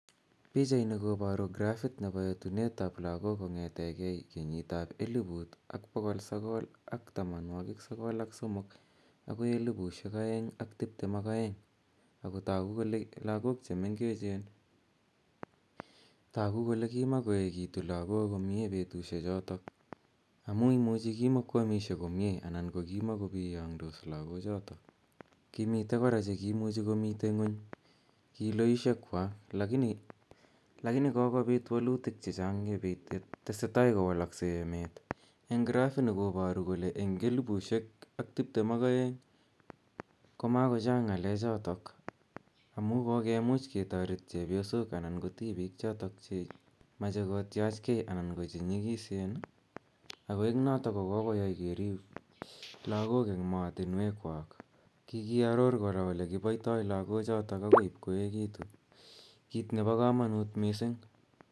Pichani koparu graphit nepp. etuneet ap lagook kong'ete gei kenyiit ap eliput ak poko sokol ak tamanwakiik sokol ak somok akoi elipushek aeng' ak tiptem ak aeng'.Agontagubkole lakook che mengechen, tagu kole ki makoekitu lagook komye petushechotok, amu imuchi kimakoamishei komye anan ko kimkopiyang'dos lakochotok. Kimitei kora che kiimuchi komitei ng'uny kiloishekwak, lakini kokopiit walutiik che chang' ye tesetai kowalaksei emeet. En graphit koparu kole eng' elipushek ak tiptem ak aeng' komakochang' ng'alechotok amu kokomuch ketaret chepyosok anan ko tipiik chotok che machei kotiach gei anan ko che nyikiseen, ako eng' notok kokoyai keriip lagok eng' maatinweekwak. Kikiaror kora ole kipaitai lagochotok agoi ip koekitu, kiit nepo kamanuut missing'.